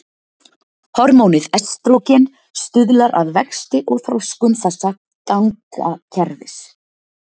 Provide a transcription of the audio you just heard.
Hormónið estrógen stuðlar að vexti og þroskun þessa gangakerfis.